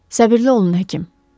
“Səbirli olun, həkim.”